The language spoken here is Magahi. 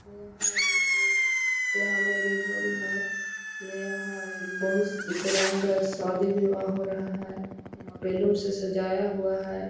यहाँ मे यहाँ मैरिज हॉल है यहाँ बहुत रंग का शादी-विवाह हो रहा है यहाँ बैलून से सजाया हुआ है।